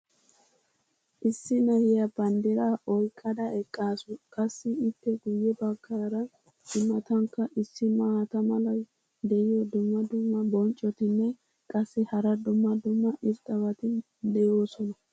issi na'iya banddiraa oyqada eqqaasu. qassi ippe guye bagaara i matankka issi maata malay de'iyo dumma dumma bonccotinne qassi hara dumma dumma irxxabati de'oosona.